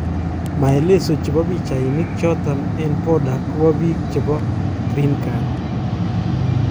Maelezochepo pichainik chotok eng border kopa biik chebo Green card